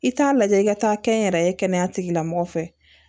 I t'a lajɛ i ka taa kɛ n yɛrɛ ye kɛnɛya tigilamɔgɔ fɛ